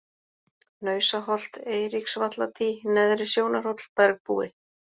Hnausaholt, Eiríksvalladý, Neðri-Sjónarhóll, Bergbúi